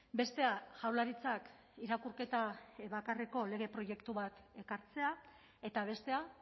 bestea jaurlaritzak irakurketa bakarreko lege proiektu bat ekartzea eta bestea